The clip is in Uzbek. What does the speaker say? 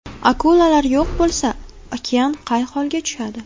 Akulalar yo‘q bo‘lsa, okean qay holga tushadi?.